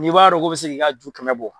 N'i b'a dɔn k'o bɛ se k'i ka ju kɛmɛ bɔ.